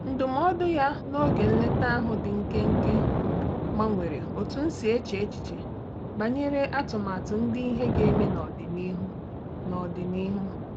Ndụmọdụ ya n'oge nleta ahụ dị nkenke gbanwere otú m si eche echiche banyere atụmatụ ndị ihe ga-eme n'ọdịnihu. n'ọdịnihu.